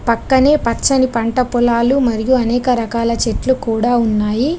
పక్కనే పచ్చని పంట పొలాలు మరియు అనేక రకాల చెట్లు కూడా ఉన్నాయి.